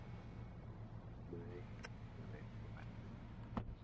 """Nei, ég veit það, væni minn."""